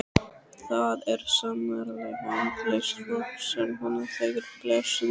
Það er sannarlega andlaust fólk sem hún þekkir blessunin.